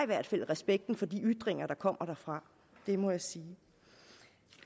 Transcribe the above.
hvert fald respekten for de ytringer der kommer derfra det må jeg sige